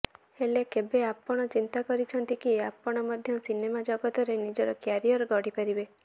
ହେଲେ କେବେ ଆପଣ ଚିନ୍ତା କରିଛନ୍ତି କି ଆପଣ ମଧ୍ୟ ସିନେମା ଜଗତରେ ନିଜର କ୍ୟାରିୟର ଗଢିପାରିବେ